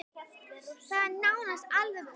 Það er nánast alveg búið.